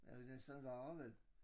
Ja det næsten værre vel